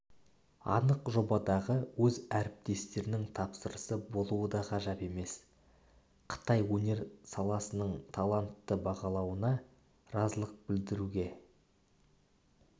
анық жобадағы өз әріптестерінің тапсырысы болуы да ғажап емес қытай өнер саласыныңталантты бағалауына разылық білдіруге